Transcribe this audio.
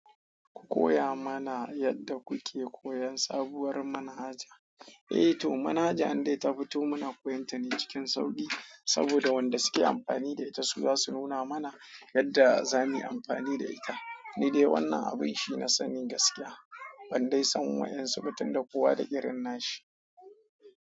Ku koya mana yadda kuke koyan sabuwar manhaja. Eh to, manhaja in dai ta fito muna koyonta ne cikin sauƙi saboda wanda suke amfani da ita su za su nuna mana yadda za muyi amfani da ita. Ni dai wannan abin shi na sanni gaskiya, ban dai san waƴan surutun da kowa da irina shi.